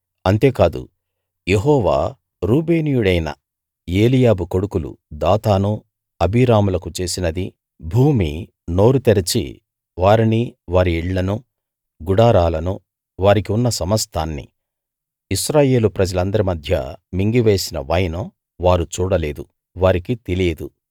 అంతేకాదు యెహోవా రూబేనీయుడైన ఏలీయాబు కొడుకులు దాతాను అబీరాములకు చేసినదీ భూమి నోరు తెరచి వారిని వారి ఇళ్ళను గుడారాలను వారికి ఉన్న సమస్తాన్నీ ఇశ్రాయేలు ప్రజలందరి మధ్య మింగివేసిన వైనం వారు చూడలేదు వారికి తెలియదు